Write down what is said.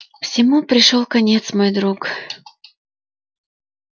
всему пришёл конец мой друг